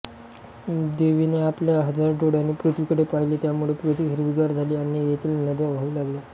देवीने आपल्या हजार डोळ्यांनी पृथ्वीकडे पाहिले त्यामुळे पृथ्वी हिरवीगार झाली आणि येथील नद्या वाहू लागल्या